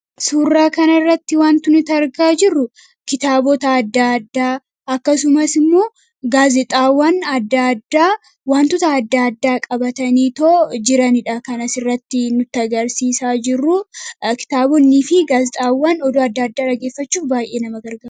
suurraa kana irratti wantu nitargaa jirru kitaabota adda addaa akkasumas immoo xwantota adda addaa qabatanii too jiraniidha kanas irratti nutagarsiisaa jiru kitaabonnii fi gaazixaawwan odoo adda adda drageeffachuuf baay'ee nama ka